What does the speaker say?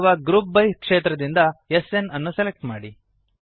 ಅಲ್ಲಿರುವ group by ಕ್ಷೇತ್ರದಿಂದ SNಅನ್ನು ಸೆಲೆಕ್ಟ್ ಮಾಡಿ